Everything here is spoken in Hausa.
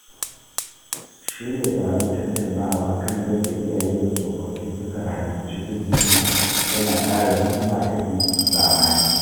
Shirya taron tattaunawa kan yadda iyaye da tsofaffi suka rayu cikin hikima yana ƙara hikima ga ƴan zamani